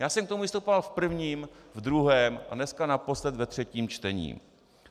Já jsem k tomu vystupoval v prvním, v druhém a dneska naposled ve třetím čtení.